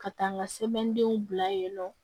Ka taa n ka sɛbɛndenw bila yen nɔ